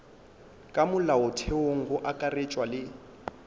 ka molaotheong go akaretšwa le